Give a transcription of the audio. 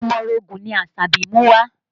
Omorogun ni Asabi mú wá